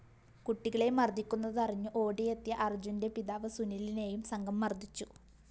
കുട്ടികളെ മര്‍ദ്ദിക്കുന്നതറിഞ്ഞു ഓടിയെത്തിയ അര്‍ജ്ജുന്റെ പിതാവ് സുനിലിനേയും സംഘം മര്‍ദ്ദിച്ചു